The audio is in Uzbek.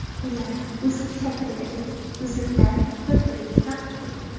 Ular so‘rg‘ich shaklidagi uzuklarni bir-biriga taqib qo‘ydi.